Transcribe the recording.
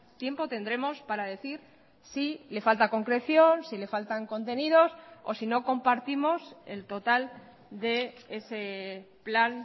tiempo tendremos para decir si le falta concreción si le faltan contenidos o si no compartimos el total de ese plan